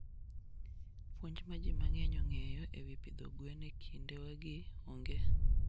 Puonj ma ji mang'eny ong'eyo e wi pidho gwen e kindewagi onge.